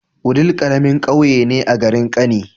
Wudil karamin ƙauye ne a garin kani